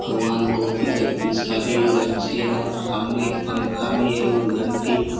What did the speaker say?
भगवान बहुत ही शक्तिशाली और अच्छे है और सामने एक पंखा भी है और गन भी--